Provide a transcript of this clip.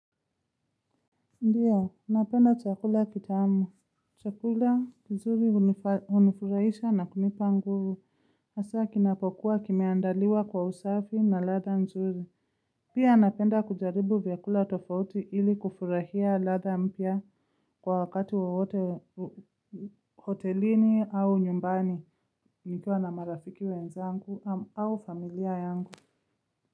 Ndiyo, napenda chakula kitamu. Chakula nzuri unifurahisha na kunipa nguvu. Hasaa kinapokuwa kimeandaliwa kwa usafi na ladha nzuri. Pia napenda kujaribu vyakula tofauti ili kufurahia ladha mpya kwa wakati wowote hotelini au nyumbani. Nikiwa na marafiki wenzangu au familia yangu.